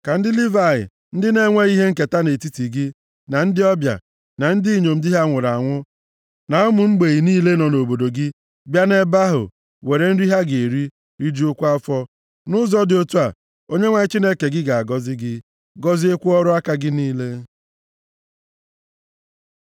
ka ndị Livayị, ndị na-enweghị ihe nketa nʼetiti gị, na ndị ọbịa, na ndị inyom di ha nwụrụ anwụ, na ụmụ mgbei niile nọ nʼobodo gị, bịa nʼebe ahụ were nri ha ga-eri, rijuokwa afọ. Nʼụzọ dị otu a, Onyenwe anyị Chineke gị ga-agọzi gị, gọziekwa ọrụ aka gị niile.